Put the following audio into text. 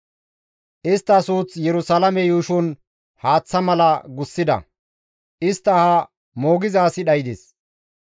Istta suuth Yerusalaame yuushon haaththa mala gussida; istta aha moogiza asi dhaydes.